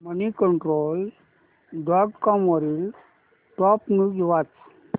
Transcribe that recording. Moneycontrol dot com वरील top news वाच